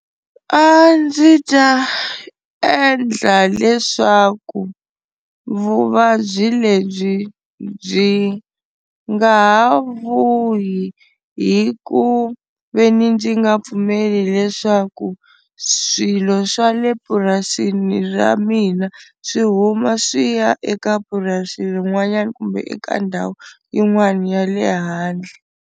A ndzi ta endla leswaku vuvabyi lebyi byi nga ha vuyi hi ku veni ndzi nga pfumeli leswaku swilo swa le purasini ra mina swi huma swi ya eka purasi rin'wanyana kumbe eka ndhawu yin'wana ya le handle.